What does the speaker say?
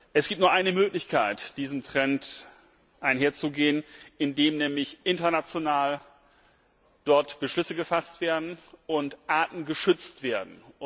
Es gibt nur eine Möglichkeit, diesem Trend entgegenzutreten, indem nämlich international dort Beschlüsse gefasst und Arten geschützt werden.